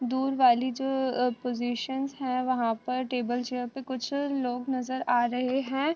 दूर वाली जो पज़िशनस है वहाँ पर टेबल चेयर पर कुछ लोग नजर आ रहे हैं।